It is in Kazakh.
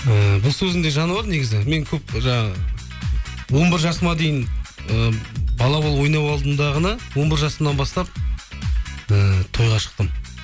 ііі бұл сөзіңде жаны бар негізі мен көп жаңағы он бір жасыма дейін і бала болып ойнап алдымдағыны он бір жасымнан бастап ііі тойға шықтым